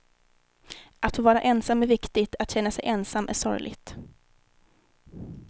Att få vara ensam är viktigt, att känna sig ensam är sorgligt.